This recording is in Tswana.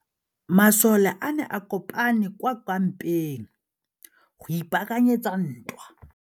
Masole a ne a kopane kwa kampeng go ipaakanyetsa ntwa.